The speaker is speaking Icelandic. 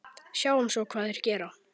Sjáum svo hvað þeir gera.